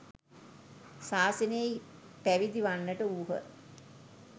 ශාසනයෙහි පැවිදි වන්නට වූහ.